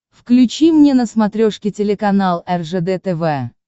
включи мне на смотрешке телеканал ржд тв